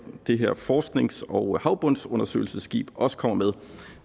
det her forsknings og havbundsundersøgelsesskib også kommer med